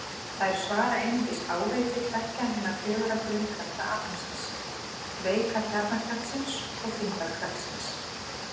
Þær svara einungis áreiti tveggja hinna fjögurra grunnkrafta alheimsins: Veika kjarnakraftsins og þyngdarkraftsins.